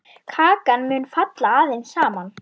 Kakan mun falla aðeins saman.